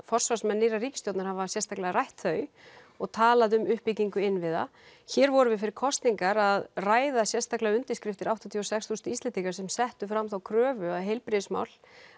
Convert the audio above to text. forsvarsmenn nýrrar ríkisstjórnar hafa sérstaklega rætt þau og talað um uppbyggingu innviða hér vorum við fyrir kosningar að ræða sérstaklega undirskriftir áttatíu og sex þúsund Íslendinga sem settu fram þá kröfu að heilbrigðismál